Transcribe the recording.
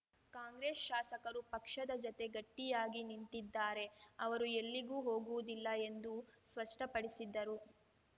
ಕಾಂಗ್ರೆಸ್‌ ಶಾಸಕರು ಪಕ್ಷದ ಜತೆ ಗಟ್ಟಿಯಾಗಿ ನಿಂತಿದ್ದಾರೆ ಅವರು ಎಲ್ಲಿಗೂ ಹೋಗುವುದಿಲ್ಲ ಎಂದು ಸ್ಪಷ್ಟಪಡಿಸಿದ್ದರು